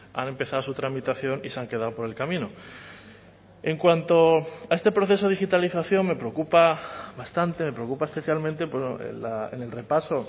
han empezado su tramitación y se han quedado por el camino en cuanto a este proceso de digitalización me preocupa bastante preocupa especialmente en el repaso